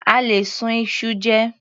A lè sun iṣu jẹ.